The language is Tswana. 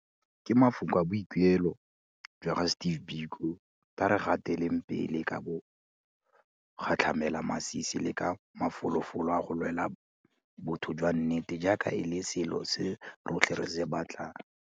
Ka mafoko a boikuelo jwa ga Steve Biko, tla re gateleng pele ka bogatlhamelamasisi le ka mafolofolo a go lwela botho jwa nnete jaaka e le selo se rotlhe re se batlang.